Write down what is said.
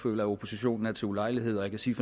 føler at oppositionen er til ulejlighed og jeg kan sige